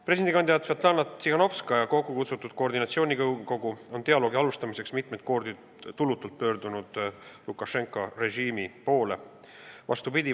Presidendikandidaat Svetlana Tihhanovskaja kokkukutsutud koordinatsiooninõukogu on dialoogi alustamiseks mitmeid kordi tulutult Lukašenka režiimi poole pöördunud.